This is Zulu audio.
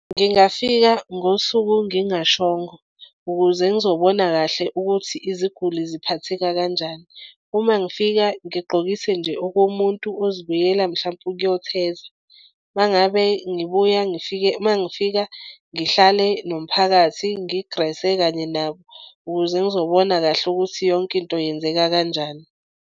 Ngingafika ngosuku ngingashongo ukuze ngizobona kahle ukuthi iziguli ziphatheka kanjani. Uma ngifika ngigqokise nje okomuntu ozobuyela mhlampe ukuyotheza uma ngabe ngibuya ngifike uma ngifika ngihlale nomphakathi ngigrese kanye nabo ukuze ngizobona kahle ukuthi yonke into yenzeka kanjani.